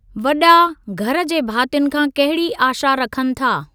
वॾा, घर जे भातियुनि खां कहिड़ी आशा रखनि था?